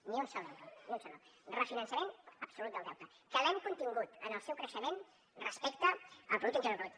ni un sol euro ni un sol euro refinançament absolut del deute que l’hem contingut en el seu creixement respecte al producte interior brut